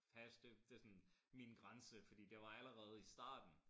Hash det det sådan min grænse fordi det var allerede i starten